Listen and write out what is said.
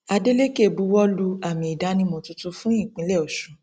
adelèkẹ buwọ lu àmì ìdánimọ tuntun fún ìpínlẹ ọṣun